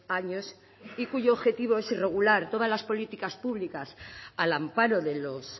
años y cuyo objetivo es regular todas las políticas públicas al amparo de los